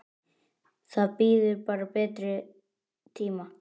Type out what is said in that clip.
Það bíður bara betri tíma.